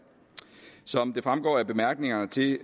som det fremgår af bemærkningerne til